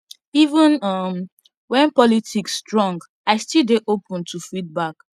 even um when politics strong i still dey open to feedback